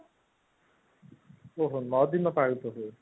ଓଃ ହୋ ନଅ ଦିନ ପାଳନ ହୁଏ